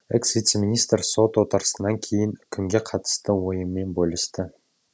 экс вице министр сот отырысынан кейін үкімге қатысты ойымен бөлісті